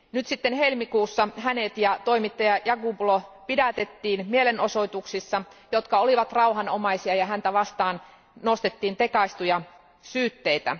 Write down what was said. Nyt sitten helmikuussa hänet ja toimittaja Yaqublu pidätettiin mielenosoituksissa, jotka olivat rauhanomaisia, ja häntä vastaan nostettiin tekaistuja syytteitä.